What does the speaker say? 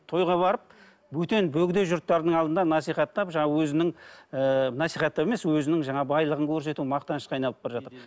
тойға барып бөтен бөгде жұрттардың алдында насихаттап жаңағы өзінің ыыы насихаттау емес өзінің жаңағы байлығын көрсету мақтанышқа айналып бара жатыр